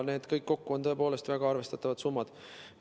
See kõik kokku on tõepoolest väga arvestatav summa.